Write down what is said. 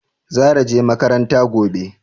Zara je makaranta gobe?